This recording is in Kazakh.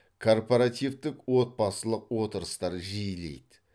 корпоративтік отбасылық отырыстар жиілейді